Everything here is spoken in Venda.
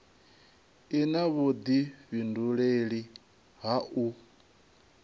i na vhudifhinduleli ha u